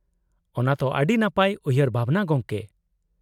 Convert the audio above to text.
-ᱚᱱᱟ ᱛᱚ ᱟᱹᱰᱤ ᱱᱟᱯᱟᱭ ᱩᱭᱦᱟᱹᱨ ᱵᱷᱟᱵᱱᱟ, ᱜᱚᱢᱠᱮ ᱾